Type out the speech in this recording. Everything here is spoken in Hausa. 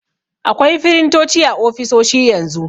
Akwai firintoci a ofisoshi yanzu.